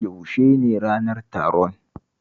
Yaushe ne ranar taron?